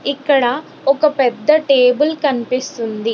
ఇక్కడ ఒక పెద్ద టేబుల్ కనిపిస్తుంది.